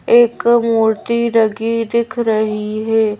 एक मूर्ति लगी दिख रही है।